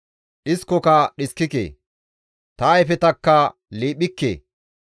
dhiskoka dhiskike; ta ayfetakka liiphikke.